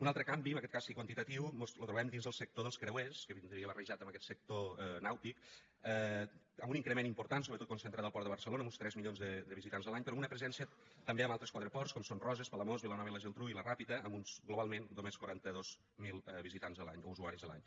un altre canvi en aquest cas sí quantitatiu mos lo trobem dins del sector dels creuers que vindria barrejat amb aquest sector nàutic amb un increment important sobretot concentrat al port de barcelona amb uns tres milions de visitants l’any però amb una presència també en altres quatre ports com són roses palamós vilanova i la geltrú i la ràpita amb uns globalment només quaranta dos mil visitants l’any o usuaris l’any